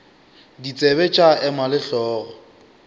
ditsebe tša ema le hlogo